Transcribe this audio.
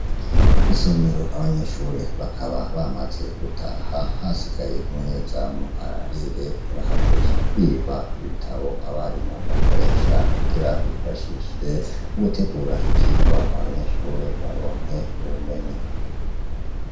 Isomero abanyeshuri bakaba bamaze gutaha hasigaye umunyezamu ararire ntibahave biba ibitabo abarimu bakoresha kugira bifashe mu gutegura ivyirwa abanyeshuri baronke ubumenyi.